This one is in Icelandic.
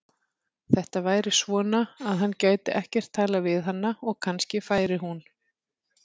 Þetta væri svona, að hann gæti ekkert talað við hana og kannski færi hún.